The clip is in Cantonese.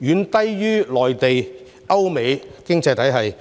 遠低於內地及歐美等經濟體系。